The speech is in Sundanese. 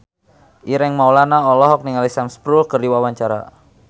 Ireng Maulana olohok ningali Sam Spruell keur diwawancara